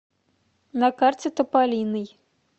на карте тополиный